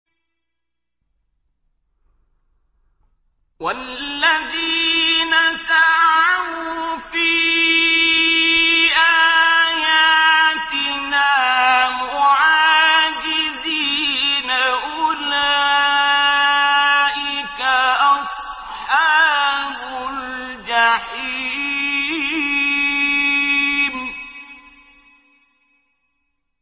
وَالَّذِينَ سَعَوْا فِي آيَاتِنَا مُعَاجِزِينَ أُولَٰئِكَ أَصْحَابُ الْجَحِيمِ